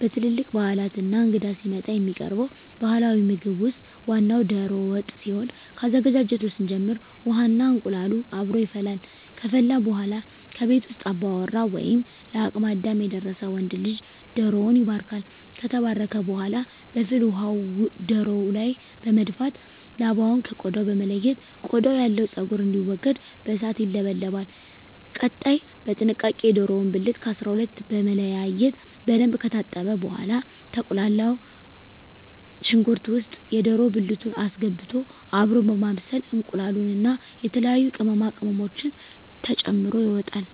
በትልልቅ ባህላት እና እንግዳ ሲመጣ የሚቀርበው ባህላዊ ምግብ ውስጥ ዋናው ደሮ ወጥ ሲሆን ከአዘገጃጀቱ ስንጀምር ውሃ እና እንቁላሉ አብሮ ይፈላል ከፈላ በኃላ ከቤት ውስጥ አባወራ ወይም ለአቅመ አዳም የደረሰ ወንድ ልጅ ደሮዉን ይባርካል። ከተባረከ በኃላ በፍል ውሃው ደሮው ላይ በመድፋት ላባውን ከ ቆዳው በመለየት ቆዳው ያለው ፀጉር እንዲወገድ በእሳት ይለበለባል። ቀጣይ በጥንቃቄ የደሮውን ብልት ከ 12 በመለያየት በደንብ ከታጠበ በኃላ በተቁላላው ሽንኩርት ውስጥ የደሮ ብልት አስገብቶ አብሮ በማብሰል እንቁላሉን እና የተለያዩ ቅመማ ቅመሞችን ተጨምሮ ይወጣል።